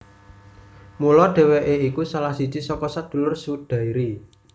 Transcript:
Mula dhèwèké iku salah siji saka sadulur Sudairi